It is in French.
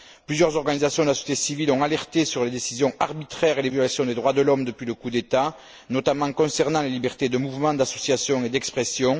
Plusieurs organisations de la société civile ont signalé les décisions arbitraires et les violations des droits de l'homme depuis le coup d'État, notamment concernant les libertés de mouvement, d'association et d'expression.